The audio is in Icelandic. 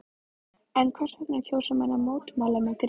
En hvers vegna kjósa menn að mótmæla með grímur?